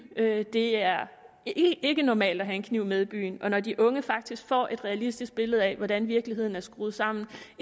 det det er ikke normalt at have en kniv med i byen og når de unge faktisk får et realistisk billede af hvordan virkeligheden er skruet sammen